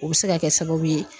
O bɛ se ka kɛ sababu ye